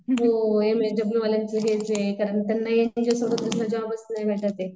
हो एमएसडब्ल्यू वाल्यांचे हेच आहे कारण त्यांना जॉबचं नाही भेटत ये.